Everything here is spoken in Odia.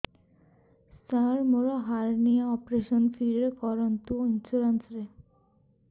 ସାର ମୋର ହାରନିଆ ଅପେରସନ ଫ୍ରି ରେ କରନ୍ତୁ ଇନ୍ସୁରେନ୍ସ ରେ